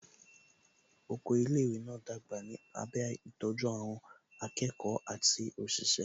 Oko ilé ìwé náà dàgbà ní abẹ́ ìtọ́jú àwọn akẹ́kọ̀ọ́ àti òṣìṣẹ́